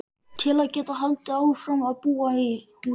Til að geta haldið áfram að búa í húsinu.